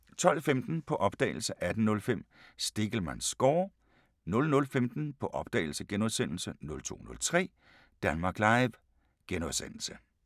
12:15: På opdagelse 18:05: Stegelmanns score 00:15: På opdagelse * 02:03: Danmark Live *